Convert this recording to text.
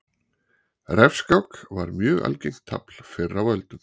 Refskák var mjög algengt tafl fyrr á öldum.